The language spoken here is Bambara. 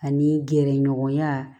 Ani gɛrɛɲɔgɔnya